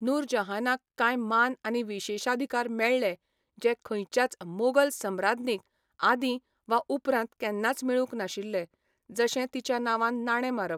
नूरजहानाक कांय मान आनी विशेषाधिकार मेळ्ळे, जे खंयच्याच मोगल सम्राज्ञीक आदीं वा उपरांत केन्नाच मेळूंक नाशिल्ले, जशें तिच्या नांवान नाणें मारप.